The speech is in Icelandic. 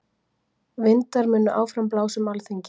Vindar munu áfram blása um Alþingi